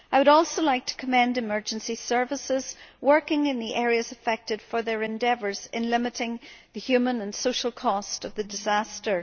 I would also like to commend emergency services working in the areas affected for their endeavours in limiting the human and social cost of the disaster.